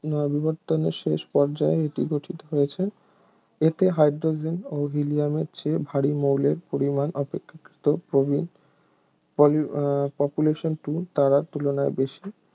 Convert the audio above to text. না বিবর্তনের শেষ পর্যায়ে এটি গঠিত হয়েছে এতে হাইড্রোজেন ও হিলিয়ামের চেয়ে ভারী মৌলের পরিমাণ অপেক্ষাকৃত প্রবীণ polu উম population two তারার তুলনায় বেশি